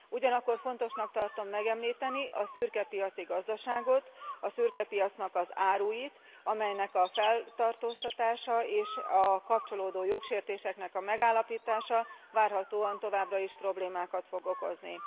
Ugyanakkor fontosnak tartom megemlíteni a szürkepiaci gazdaságot, a szürkepiacnak az áruit, amelynek a feltartóztatása és a kapcsolódó jogsértéseknek a megállapítása várhatóan továbbra is problémákat fog okozni.